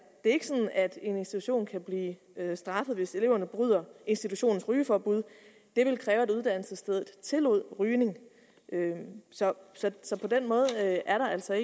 ikke sådan at en institution kan blive straffet hvis eleverne bryder institutionens rygeforbud det ville kræve at uddannelsesstedet tillod rygning så på den måde er der altså